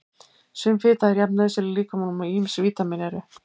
Sum fita er jafn nauðsynleg líkamanum og ýmis vítamín eru.